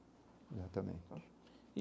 Exatamente.